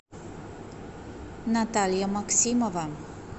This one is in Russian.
наталья максимова